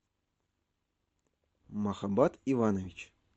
махаббат иванович